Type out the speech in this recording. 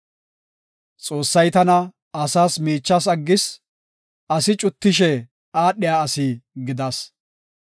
Xoossay tana asas miichas aggis; asi cuttishe aadhiya asi gidas.